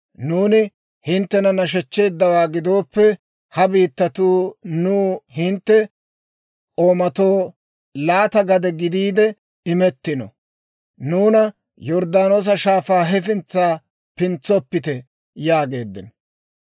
Nuuni hinttena nashechcheeddawaa gidooppe, ha biittatuu nuu hintte k'oomatoo laata gade gidiide imettino. Nuuna Yorddaanoosa Shaafaa hefintsa pintsoppite» yaageeddino.